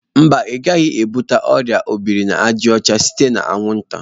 Mba, ị gaghị ebute ọrịa ọ biri na àjà ọcha site na anwụnta.